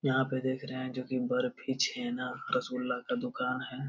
यहाँ पे देख रहें हैं जो की बर्फी छेना रसगुल्ला का दुकान है।